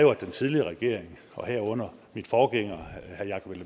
var at den tidligere regering og herunder min forgænger herre jakob